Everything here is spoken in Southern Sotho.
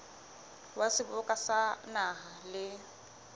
wa seboka sa naha le